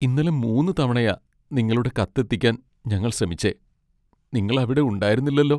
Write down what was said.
ഇന്നലെ മൂന്ന് തവണയാ നിങ്ങളുടെ കത്ത് എത്തിക്കാൻ ഞങ്ങൾ ശ്രമിച്ചേ. നിങ്ങൾ അവിടെ ഉണ്ടായിരുന്നില്ലല്ലോ.